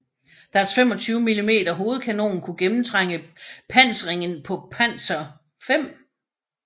Deres 25 mm hovedkanon kunne gennemtrænge pansringen på Panzer IV